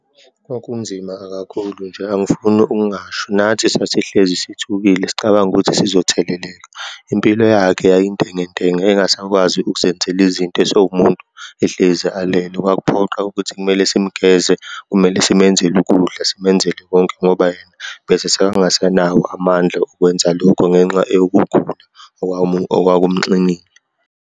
Kwakunzima kakhulu nje angifuni okungasho, nathi sasihlezi sithukile, sicabanga ukuthi sizotheleleka. Impilo yakhe yayintengentenge, engasakwazi ukuzenzela izinto, esewumuntu ehlezi alela. Kwakuphoqa ukuthi kumele simgeze, kumele simenzele ukudla, simenzele konke ngoba yena besesengasanawo amandla okwenza lokho ngenxa yokugula okwakumxinile.